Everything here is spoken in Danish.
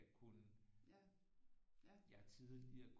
Jeg kunne jeg tidligere